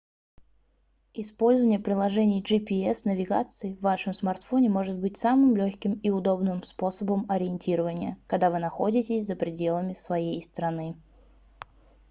использование приложений gps-навигации в вашем смартфоне может быть самым лёгким и удобным способом ориентирования когда вы находитесь за пределами своей страны